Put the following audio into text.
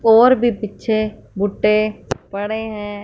और भी पीछे भुट्टे पड़े हैं।